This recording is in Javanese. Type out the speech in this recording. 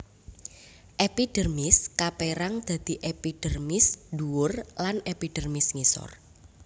Epidermis kapérang dadi epidermis ndhuwur lan epidermis ngisor